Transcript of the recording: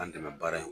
An dɛmɛ baara in